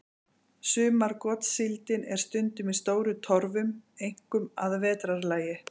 Sumargotssíldin er stundum í stórum torfum, einkum að vetrarlagi.